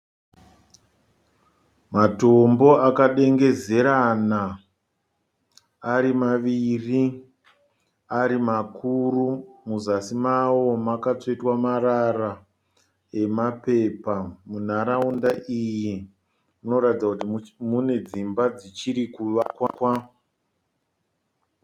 Matombo akadengezerana ari maviri ari makuru. Muzasi mavo makatsvetwa marara emapepa. Munharaunda iyi munoratidza kuti mune dzimba dzichiri kuvakwa.